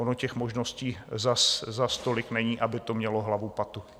Ono těch možností zas tolik není, aby to mělo hlavu, patu.